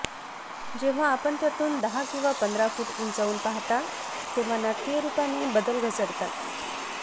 जेव्हा आपण त्यातून दहा किंवा पंधरा फूट उंचावून पहाता तेव्हा नाटकीय रूपाने बदल घसरतात